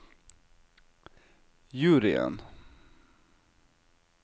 juryen